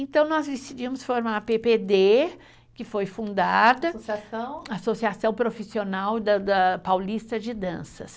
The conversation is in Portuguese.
Então, nós decidimos formar a PPD, que foi fundada, Associação Profissional da Paulista de Danças.